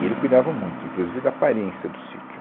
E ele cuidava muito, inclusive da aparência do sítio.